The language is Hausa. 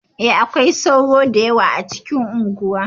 E, akwai sauro da yawa a cikin unguwa.